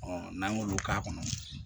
n'an y'olu k'a kɔnɔ